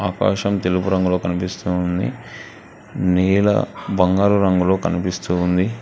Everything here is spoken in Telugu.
ఆకాశం తెలుపు రంగులో కనిపిస్తుంది నీలా బంగారు రంగులో కనిపిస్తూ ఉంది.